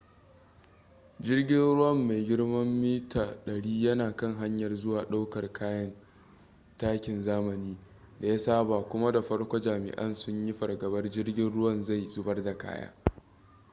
jirgin ruwan mai girman mita-100 yana kan hanyar zuwa ɗaukar kayan takin zamani da ya saba kuma da farko jami'ai sun yi fargabar jirgin ruwan zai zubar da kaya